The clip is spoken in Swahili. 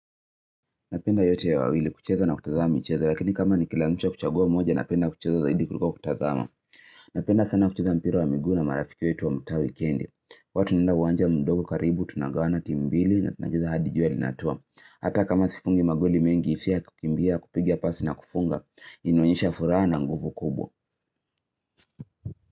Napenda yote ya wawili kucheza na kutazama michezo lakini kama nikilazimishwa kuchagua moja napenda kucheza zaidi kuliko kutazama Napenda sana kucheza sana mpira wa miguu na marafiki wetu wa mtaa wikendi. Huwa tunaenda uwanja mdogo karibu tunagawana timu mbili tunacheza hadi jua linatua. Hata kama sifungi magoli mengi ifia kukimbia kupigia pasi na kufunga inaonyesha furaha na nguvu kubwa.